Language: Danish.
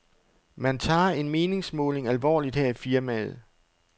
Man tager en meningsmåling alvorligt her i firmaet.